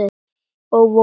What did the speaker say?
Og voða sætt.